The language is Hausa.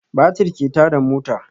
Batir ke tada mota